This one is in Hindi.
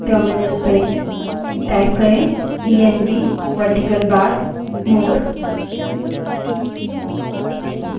terminal में type करें env verticalbar more E N V space verticalbar more